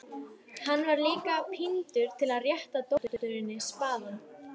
Hann var líka píndur til að rétta dótturinni spaðann.